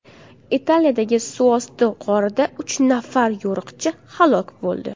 Italiyadagi suvosti g‘orida uch nafar yo‘riqchi halok bo‘ldi.